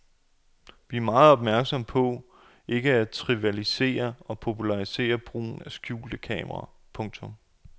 Vi er meget opmærksomme på ikke at trivialisere og popularisere brugen af det skjulte kamera. punktum